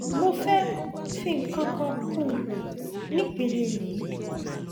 mo fẹ fi nǹkan kan kún un ní ìpele yìí